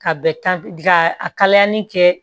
Ka bɛ ka a kalali kɛ